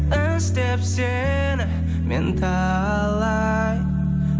іздеп сені мен талай